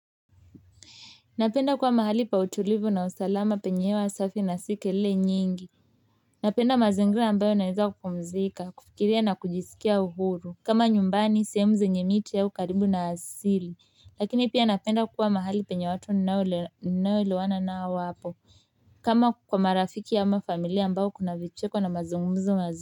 Napenda kuwa mahali pa utulivu na usalama penyewe usafi na si kelele nyingi napenda mazingira ambayo naweza kupumzika, kufikiria na kujisikia uhuru kama nyumbani, sehemu zenye miti au karibu na asili lakini pia napenda kuwa mahali penye watu ninaelewana nao wapo kama kwa marafiki ama familia ambayo kuna vicheko na mazungumzo mazu.